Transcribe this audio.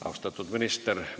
Austatud minister!